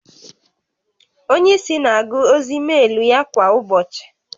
Onye isi na-agụ ozi meelu ya kwa ụbọchị